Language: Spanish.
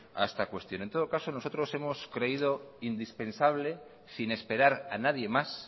a esta cuestión en todo caso nosotros hemos creído indispensable sin esperar a nadie más